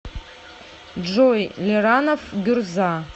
джой лиранов гюрза